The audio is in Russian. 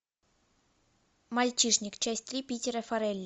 мальчишник часть три питера фаррелли